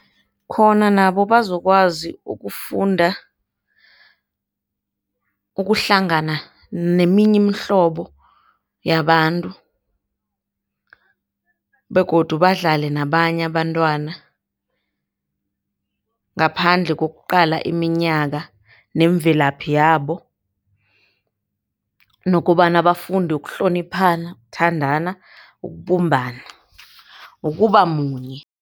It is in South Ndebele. Khona nabo bazokwazi ukufunda, ukuhlangana neminye imihlobo yabantu, begodu badlale nabanye abantwana ngaphandle ngokuqala iminyaka nemvelaphi yabo, nokobana bafunde ukuhloniphana, ukuthandana, ukubumbana nokubamunye.